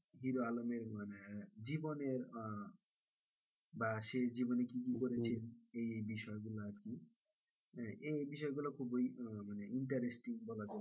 hero আলমের মানে জীবনের আহ বা সে জীবনে কি কি করেছেন এই বিষয়গুলো এখন এই বিষয়গুলো খুবই আহ মানে interesting বলা চলে বা,